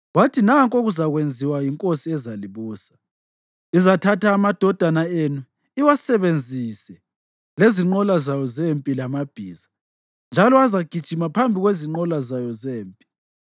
Wathi, “Nanku okuzakwenziwa yinkosi ezalibusa: Izathatha amadodana enu iwasebenzise lezinqola zayo zempi lamabhiza, njalo azagijima phambi kwezinqola zayo zempi.